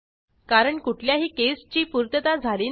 कारण कुठल्याही caseची पूर्तता झाली नाही